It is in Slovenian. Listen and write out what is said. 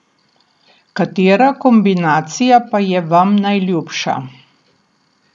Katera kombinacija pa je vam najljubša?